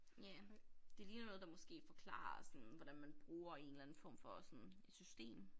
Ja det ligner noget der måske forklarer sådan hvordan man bruger en eller anden form for sådan et system